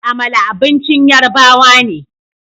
Amala abincin Yarbawa ne